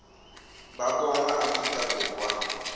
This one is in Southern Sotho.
ba bona ba afrika borwa